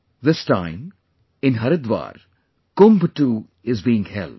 This time, in Haridwar, KUMBH too is being held